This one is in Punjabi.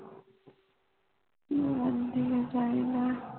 ਉਹ ਆਉਂਦੀ ਹੈ ਜੈ ਨਾ